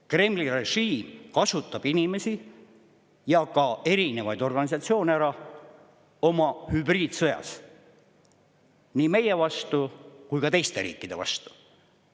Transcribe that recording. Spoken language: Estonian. Kremli režiim kasutab inimesi ja ka erinevaid organisatsioone oma hübriidsõjas ära nii meie kui ka teiste riikide vastu.